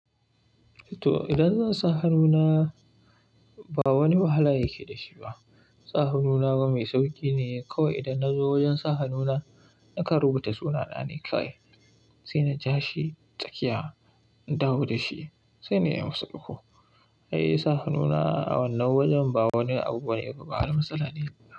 To, idan zan sa hannuna ba wani wahala yake da shi ba. Sa hannuna bama mai sauƙi ne. Kawai idan na zo wajen sa hannuna, nakan rubuta sunana ne kawai, sai na ja shi tsakiya, in dawo da shi sai na yi masa ɗigo. Ai sa hannuna a wannan wajen ba wani abu bane, ba wani matsala ne ba.